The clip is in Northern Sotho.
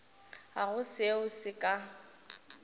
ga go seo se ka